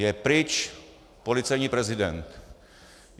Je pryč policejní prezident.